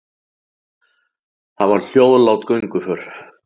Það var hljóðlát gönguför.